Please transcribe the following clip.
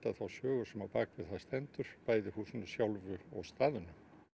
þá sögu sem á bakvið það stendur bæði húsinu sjálfu og staðnum